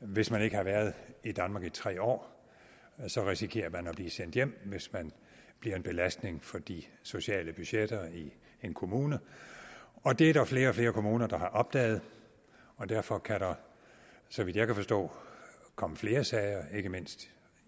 hvis man ikke har været i danmark i tre år risikerer man at blive sendt hjem hvis man bliver en belastning for de sociale budgetter i en kommune det er der flere og flere kommuner der har opdaget og derfor kan der så vidt jeg kan forstå komme flere sager ikke mindst